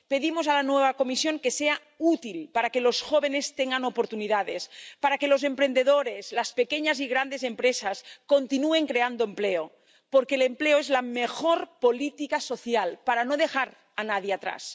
Pedimos a la nueva Comisión que sea útil, para que los jóvenes tengan oportunidades, para que los emprendedores, las pequeñas y grandes empresas, continúen creando empleo, porque el empleo es la mejor política social para no dejar a nadie atrás.